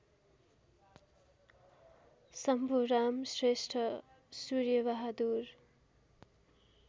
Shambhuram Shrestha Surya Bahadur